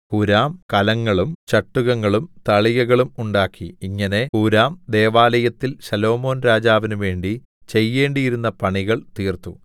ഹൂരാം കലങ്ങളും ചട്ടുകങ്ങളും തളികകളും ഉണ്ടാക്കി ഇങ്ങനെ ഹൂരാം ദൈവാലയത്തിൽ ശലോമോൻരാജാവിനു വേണ്ടി ചെയ്യേണ്ടിയിരുന്ന പണികൾ തീർത്തു